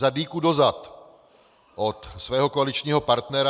- za dýku do zad od svého koaličního partnera.